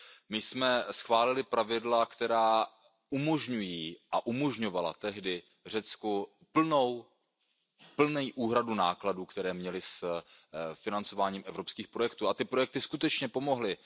My jsme schválili pravidla, která umožňují a umožňovala tehdy Řecku plnou úhradu nákladů, které měli s financováním evropských projektů, a ty projekty skutečně pomohly.